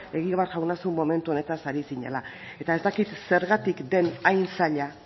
egibar jauna zuk momentu honetaz ari zinela eta ez dakit zergatik den hain zaila